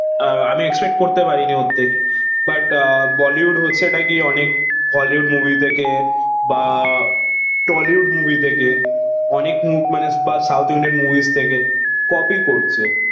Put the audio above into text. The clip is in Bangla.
আমি এক্সপেক্ট করতে পারিনি ওর থেকে বাট আহ বলিউড হচ্ছে টাকি অনেক হলিউড মুভি থেকে বা টলিউড মুভি থেকে অনেক বা সাউথ ইন্ডিয়ান মুভিস থেকে কপি করছে